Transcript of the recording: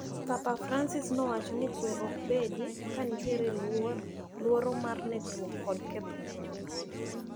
Papa Francis nowacho ni kwe okbedi kanitiere luoro mar negruok kod ketho mwandu.